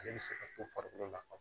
Ale bɛ se ka to farikolo la